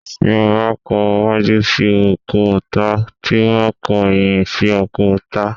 Tí o ba kọ̀ waju sí o, ko tá Tí o ba kọ̀ eyin sí o, ko tá